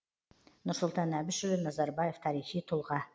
нұрсұлтан әбішұлы назарбаев тарихи тұлға